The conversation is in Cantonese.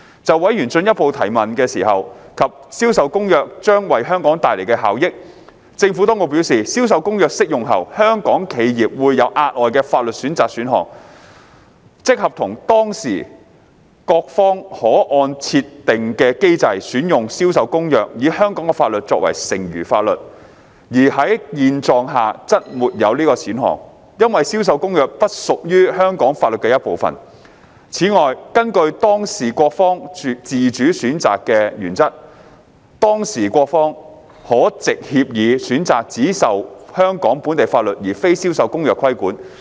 就委員進一步提問時，問及《銷售公約》將為香港帶來的效益，政府當局表示，《銷售公約》適用後，香港企業會有額外的法律選擇選項，即合同當事各方可按設定的機制選用《銷售公約》，以香港法律作為剩餘法律，而在現狀下則沒有此選項，因為《銷售公約》不屬於香港法律的一部分。此外，根據當事各方自主選擇的原則，當事各方可藉協議選擇只受香港本地法律而非《銷售公約》規管。